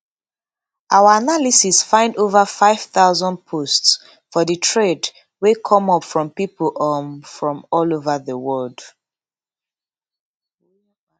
our analysis find ova five thousand posts for di trade wey come up from pipo um from all ova di wold